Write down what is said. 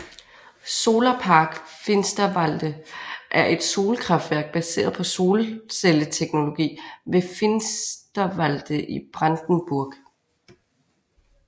Solarpark Finsterwalde er et solkraftværk baseret på solcelleteknologi ved Finsterwalde i Brandenburg